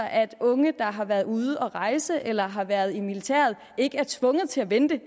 at unge der har været ude at rejse eller har været i militæret ikke er tvunget til at vente